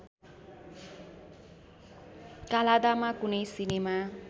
काल्हादामा कुनै सिनेमा